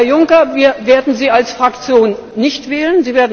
Herr Juncker, wir werden Sie als Fraktion nicht wählen.